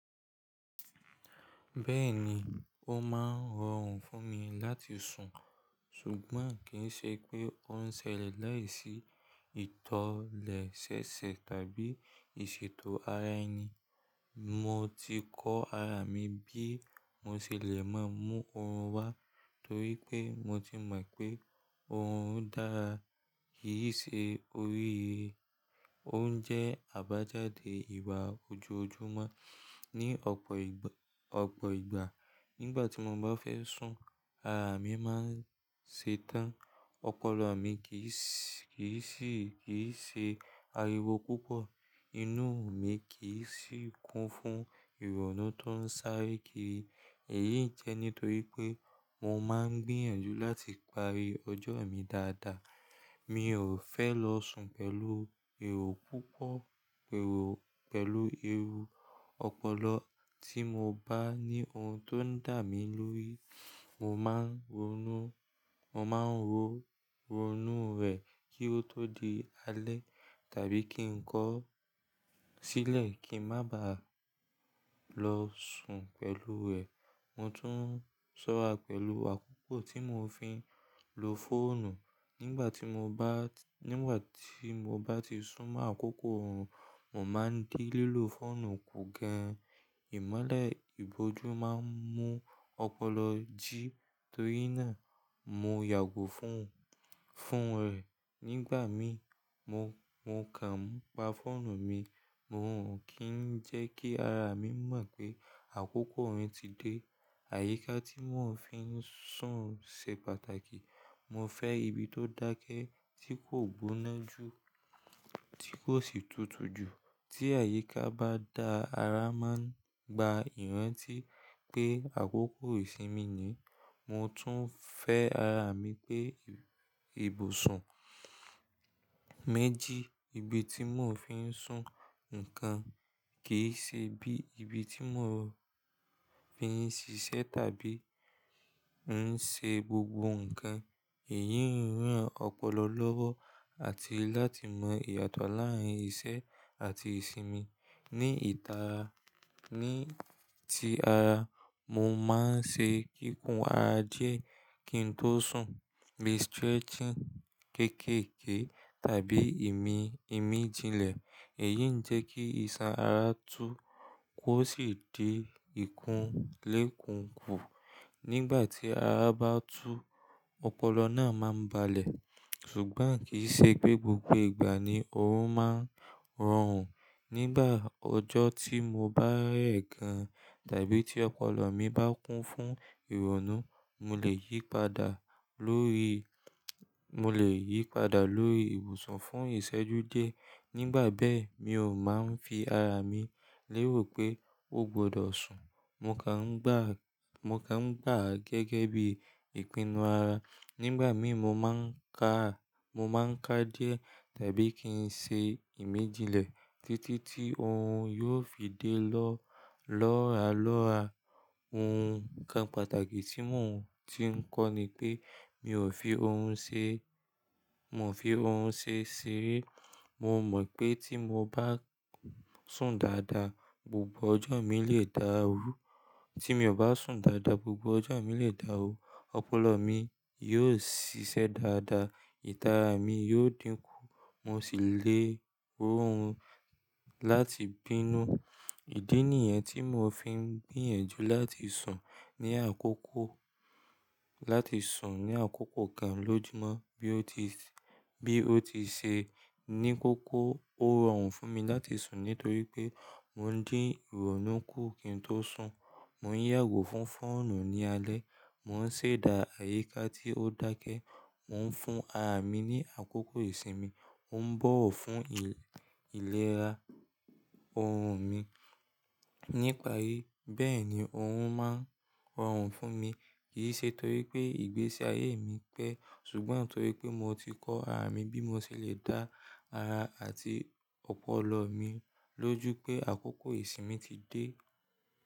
Bẹ́ẹ̀ni, òun máa ń rọrùn fún mi láti sùn, ṣùgbọ́n kì í ṣe pé òun ń ṣẹlẹ̀ láìsí ìtọ̀lẹ̀ ṣẹ́ṣẹ́ tàbí ìṣètò ara ẹni. Mo ti kọ ara mi bí mo ṣe lè máa mú òrun wá torí pé mo ti mọ̀ pé òrun dára. Èyí ṣe orí he, òun jẹ́ àbájáde ìwà ojú ojúmọ́ ní ọ̀pọ̀ ìgba. Nígbà tí mo bá fẹ́ sùn, ara mi máa ń ṣe tán, ọpọlọ mi kì n ṣe ariwo púpọ̀, inú mi kì n sì kún fún ìrònú tó ń sáré kiri. Èyí jẹ́ nítorí pé mo máa ń gbìyànjú láti parí ọjọ́ mi dáadáa. Mi ò fẹ́ lọ sùn pẹ̀lú èrò púpọ̀ pẹ̀lú ẹrù ọpọlọ. Tí mo bá ní ohun tó ń dà mí lórí, mo máa ń ronú, mo máa ń ronú rẹ̀ kí ó tó di alẹ́ tàbí kí n kọ ọ́ sílẹ̀ kí ń má ba à lọ sùn pẹ̀lú rẹ̀. Mo tún sọ́ra pẹ̀lú àkókò tí mò fin lo fóònù. Nígbà tí mo bá, nígbà tí mo bá ti sún mọ́ àkókò òun, mò máa ń di lílo fóònù kù gan-an. Ìmọ́lẹ̀ ìbòjú máa ń mú ọpọlọ jí torí náà mo yàgò fún òun, fún rẹ̀. Nígbà mí, mo kà ń pa fóònù mi, mò ń kì í jẹ́ kí ara mi mọ̀ pé àkókò òun ti dé. Àyíká tí mò fi ń sùn ṣe pàtàkì. Mo fẹ́ ibi tó dákẹ́ tí kò gboná jù tí kò sì tutù jù. Tí àyíká bá da, ara máa ń gba ìrántí pé àkókò ìsinmi ni. Mo tún fẹ́ ara mi pé ibùsùn méjì, ibi tí mò fi ń sùn nìkan kì í ṣe bí ibi tí mò fi ń ṣiṣẹ́ tàbí ń ṣe gbogbo nǹkan. Èyí ń ràn ọpọlọ lọ́wọ́ àti láti mọ ìyàtọ̀ láàrín ìṣe àti ìsinmi. Ni ìta, ní ti ara, mo máa ń ṣe kíkun ara díẹ̀ kí n tó sùn. Bi stretching kéékèèké tàbí ìmíjinlẹ̀. Èyí ń jẹ́ kí iṣan ara tú kó sì di ìkúnlé kùǹkù. Nígbà tí ara bá tú, ọpọlọ náà máa ń balẹ̀. Ṣùgbọ́n kì í ṣe pé gbogbo ìgbà ni òun máa ń rọrùn. Nígbà ọjọ́ tí mo bá rẹ̀ gan tàbí tí ọpọlọ mi bá kún fún ìrònú, mo lè yípadà lórí, mo lè yípadà lórí ibùsùn fún ìṣẹ́jú díẹ̀. Nígbà bẹ́ẹ̀, mi ò máa ń fi ara mi lérò pé ó gbọdọ̀ sùn. Mo kà ń gbà á gẹ́gẹ́ bí ìpinnu ara. Nígbà mí, mo máa ń ká a, mo máa ń ká díẹ̀ tàbí kí n ṣe ìmíjinlẹ̀ títí tí òrun yóò fi dé lọ lọ́ralọ́ra. Ohun kan pàtàkì tí mò ń ti ń kọ́ ni pé mi ò fi òrun ṣe, mò fi òrun ṣe ṣeré. Mo mọ̀ pé tí mo bá sùn dáadáa, gbogbo ọjọ́ mi lè dá rú. Tí mi ò bá sùn dáadáa, gbogbo ọjọ́ mi lè dá rú. Ọpọlọ mi yóò ṣiṣẹ́ dáadáa, ìtara mi yóò dínkù, mo sì lè rọ òun láti bínú. Ìdí nìyẹn tí mò fi ń gbìyànjú láti sùn ní àkókò kan lójúmọ́ bí ó ti ṣe ní kókó. Ó rọrùn fún mi láti sùn nítorí pé mò ń dín ìrònú kù kí n tó sùn. Mò ń yàgò fún fóònù ní alẹ́, mò ń ṣẹ̀dá àyíká tí ó dákẹ́, mò ń fún ara mi ní àkókò ìsinmi, mò ń bọ̀wọ̀ fún ìlera ọrùn mi nípa rí. Bẹ́ẹ̀ ni òrun máa ń rọrùn fún mi. Kì í ṣe torí pé ìgbésí ayé mi pẹ́ ṣùgbọ́n torí pé mò ti kọ ara mi bí mo ṣe lè dá ara àti ọpọlọ mi lójú pé àkókò ìsinmi ti dé.